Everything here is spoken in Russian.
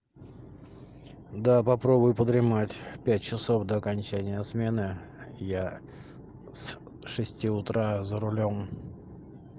да попробуй подремать пять часов до окончания смены я с шести утра за рулём